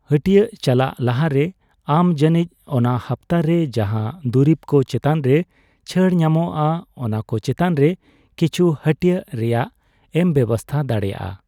ᱦᱟᱹᱴᱭᱟᱹᱜ ᱪᱟᱞᱟᱜ ᱞᱟᱦᱟᱨᱮ, ᱟᱢ ᱡᱟᱱᱤᱡ ᱚᱱᱟ ᱦᱟᱯᱛᱟᱨᱮ ᱡᱟᱦᱟ ᱫᱩᱨᱤᱵ ᱠᱚ ᱪᱮᱛᱟᱱ ᱨᱮ ᱪᱷᱟᱲ ᱧᱟᱢᱚᱜ ᱼᱟ ᱚᱱᱟ ᱠᱚ ᱪᱮᱛᱟᱱ ᱨᱮ ᱠᱤᱪᱷᱩ ᱦᱟᱹᱴᱭᱟᱹᱜ ᱨᱮᱭᱟᱜ ᱮᱢ ᱵᱮᱵᱥᱛᱟ ᱫᱟᱲᱮᱭᱟᱜᱼᱟ᱾